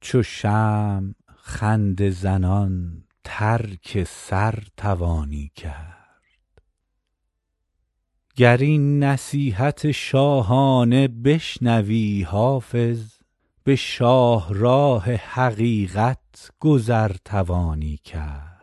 چو شمع خنده زنان ترک سر توانی کرد گر این نصیحت شاهانه بشنوی حافظ به شاهراه حقیقت گذر توانی کرد